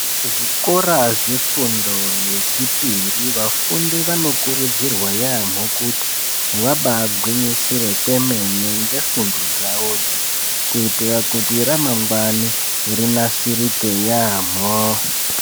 Zvikora zvefundo yechipiri vafundi vanokuridzirwa yamhpo kuti vabaagwinyisire kwemene ngefundo dzavodzo kuitira kuti ramangwani rinasirike yaampho.